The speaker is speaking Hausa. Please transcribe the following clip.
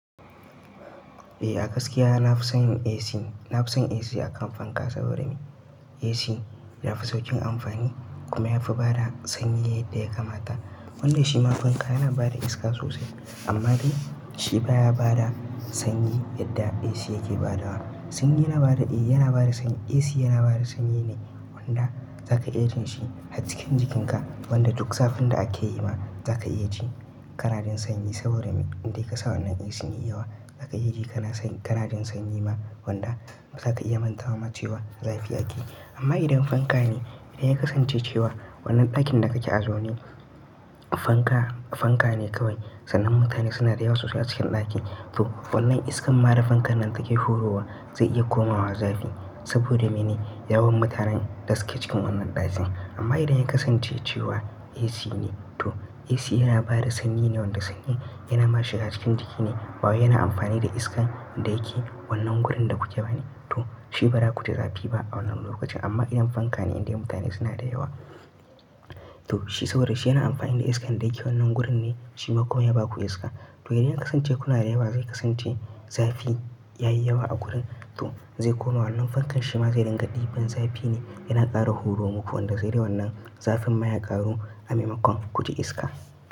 Eh a gaskiya na fi son AC, na fi son AC a kan fanka saboda me AC yafi saukin amfani kuma yafi bada sanyi yadda ya kamata. Wannan shi ma fanka yana bada iska sosai amma dai shi baya bada sanyi yadda AC yake badawa. Sanyi yana bada eh yana bada sanyi. AC yana bada sanyi ne wanda zaka iya jin shi har cikin jikinka wanda duk zafin da ake yi ma zaka iya ji ƙararren sanyi saboda me indai kai ka sa wannan AC yayi yawa zaka iya ji kana sanyi ƙararren sanyi ma wanda zata iya manta wa mutuwa zafi ake yi. Amma idan fanka ne idan ya kasance cewa wannan ɗakin da kake a zaune fanka, fanka ne kawai sannan mutane suna da yawa sosai a cikin ɗakin to wannan iskar mada fankan nan take horowa zai iya komawa zafi saboda mene yawan mutanen da suke cikin wannan ɗakin. Amma idan ya kasance cewa AC ne to AC yana bada sanyi ne wanda sanyi yana ma shiga cikin jiki ne baya yana amfani da iskar da yake wannan gurin da kuke bane to shi ba za ku ji zafi ba a wannan lokacin. Amma idan fanka ne indai mutane suna da yawa to shi saboda shi yana amfani da iskar da yake wannan gurin ne shi ma kuma ya baku iska. To idan ya kasance kuna da yawa zai kasance zafi ya yi yawa a gurin to zai koma wannan fankan shi ma zai dinga ɗiban zafi ne yana ƙara horo muku wanda zai yi wannan zafin maya ƙaru a maimakon ku ji iska.